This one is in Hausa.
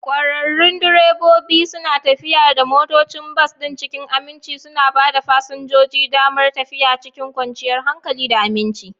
ƙwararrun direbobi suna tafiyar da motocin bas ɗin cikin aminci, suna ba fasinjoji damar tafiya cikin kwanciyar hankali da aminci.